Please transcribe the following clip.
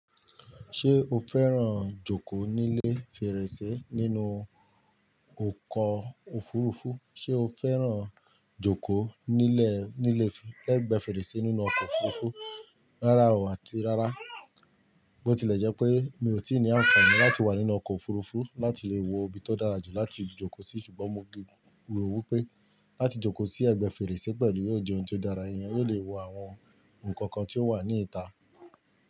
Ṣé o fẹ́ràn jókòó nílé fèrèsé nínú ọkọ̀ òfurufú? Ṣé o fẹ́ràn jókòó nílé, nílé, lẹ́ ẹ̀gbẹ́ fèrèsé nínú ọkọ̀ òfurufú? Rárá o, àti rárá. Bó tilẹ̀ jẹ́ pé mi ò tí ì ní àǹfààní láti wà nínú ọkọ̀ òfurufú láti lè wo ibi tó dára jù láti jókòó sí, ṣùgbọ́n mo gbì, mo rò wí pé láti jókòó sí ẹ̀gbẹ́ fèrèsé pẹ̀lú yóò jẹ́ ohun tó dára. Ẹ̀yàn yóò lè wo àwọn nǹkan kan tí ó wà ní ìta.